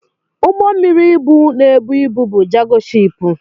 Ụgbọ mmiri ibu na-ebu ibu bụ Jago shiipu.